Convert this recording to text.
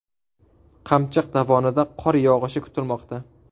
Qamchiq dovonida qor yog‘ishi kutilmoqda.